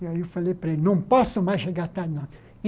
E aí eu falei para ele, não posso mais chegar tarde não.